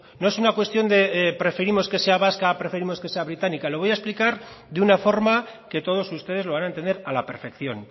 no es una cuestión de preferimos que sea vasca o preferimos que sea británica lo voy a explicar de una forma que todos ustedes lo van a entender a la perfección